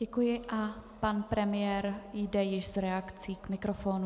Děkuji a pan premiér jde již s reakcí k mikrofonu.